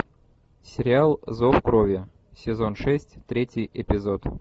сериал зов крови сезон шесть третий эпизод